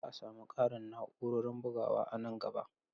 Za a sami ƙarin na'urorin bugawa a nan gaba.